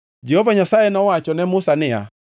Jehova Nyasaye nowacho ne Musa niya,